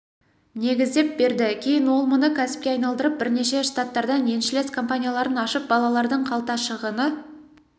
негіздеп берді кейін ол мұны кәсіпке айналдырып бірнеше штаттардан еншілес компанияларын ашып балалардың қалта шығыны